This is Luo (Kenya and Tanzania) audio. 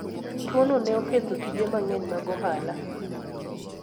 Tuwono ne oketho tije mang'eny mag ohala.